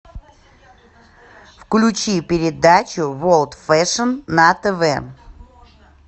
включи передачу ворлд фэшн на тв